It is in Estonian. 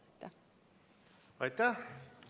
Aitäh!